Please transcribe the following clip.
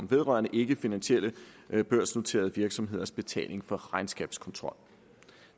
vedrørende ikkefinansielle børsnoterede virksomheders betaling for regnskabskontrol